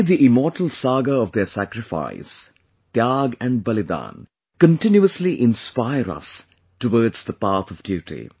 May the immortal saga of their sacrifice, 'Tyaag' and 'Balidan' continuously inspire us towards the path of duty